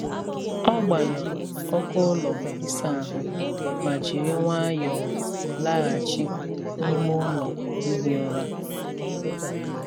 Ọ gbanyụrụ ọkụ ụlọ ịsa ahụ ma jiri nwayọọ laghachi n’ime ụlọ ihi ụra.